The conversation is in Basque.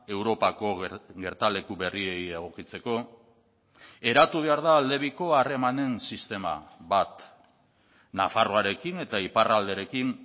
europako gertaleku berriei egokitzeko eratu behar da aldebiko harremanen sistema bat nafarroarekin eta iparralderekin